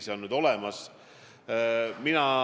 See on nüüd olemas.